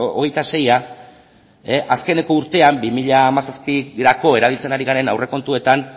hogeita seia azkeneko urtean bi mila hamazazpirako erabiltzen ari garen aurrekontuetan